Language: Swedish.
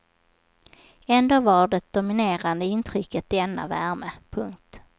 Ändå var det dominerande intrycket denna värme. punkt